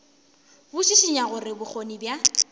bo šišinya gore bokgoni bja